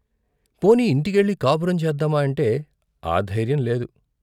పోనీ ఇంటికెళ్ళి కాపురం చేద్దామా అంటే ఆ ధైర్యం లేదు.